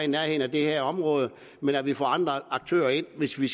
nærheden af det her område men at vi får andre aktører ind hvis vi